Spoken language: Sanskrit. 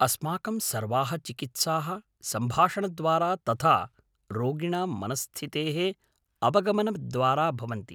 अस्माकं सर्वाः चिकित्साः सम्भाषणद्वारा तथा रोगिणां मनस्स्थितेः अवगमनद्वारा भवन्ति।